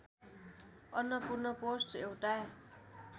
Annapurna post एउटा